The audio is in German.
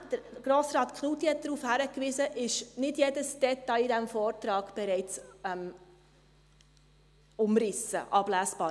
Tatsächlich – Grossrat Knutti hat darauf hingewiesen – ist nicht jedes Detail in diesem Vortrag bereits umrissen und ablesbar.